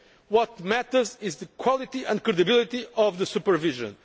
What matters is the quality and credibility of the supervision.